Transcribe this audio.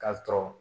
K'a sɔrɔ